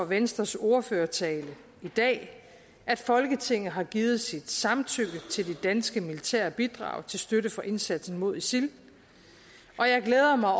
venstres ordførertale i dag at folketinget har givet sit samtykke til det danske militære bidrag til støtte for indsatsen mod isil og jeg glæder mig